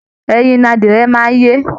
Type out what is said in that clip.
Ẹyin ni adìẹ máa ń yé